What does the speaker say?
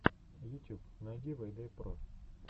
ютюб найти вэйдэ про